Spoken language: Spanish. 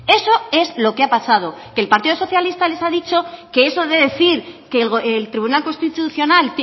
eso es lo que ha pasado que el partido socialista les ha dicho que eso de decir que el tribunal constitucional